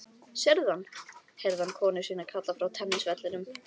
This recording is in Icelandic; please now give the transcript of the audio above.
Sérðu hann? heyrði hann konu sína kalla frá tennisvellinum.